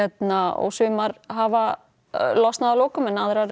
og sumar hafa losnað að lokum en aðrar